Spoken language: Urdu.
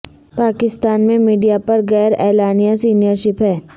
پاکستان میں میڈیا پر غیر اعلانیہ سنسر شپ ہے